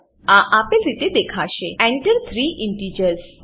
આ આપેલ રીતે દેખાશે Enter થ્રી ઇન્ટિજર્સ